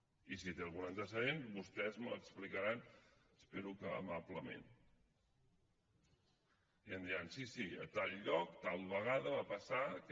i si té algun antecedent vostès me l’explicaran espero que amablement i em diran sí sí a tal lloc tal vegada va passar aquest